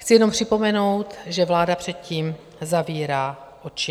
Chci jenom připomenout, že vláda předtím zavírá oči.